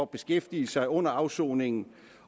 beskæftigelse under afsoningen